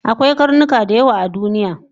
Akwai karnuka dayawa a duniya